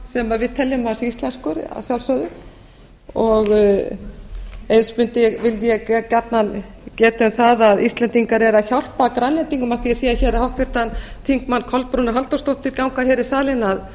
sem við teljum að sé íslenskur að sjálfsögðu eins vildi ég gjarnan geta um það að íslendingar eru að hjálpa grænlendingum af því að ég sé hér háttvirtur þingmaður kolbrúnu halldórsdóttur ganga hér í salinn